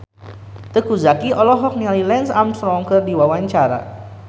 Teuku Zacky olohok ningali Lance Armstrong keur diwawancara